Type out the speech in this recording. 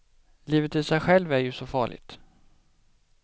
Livet i sig självt är ju så farligt.